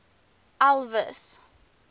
elvis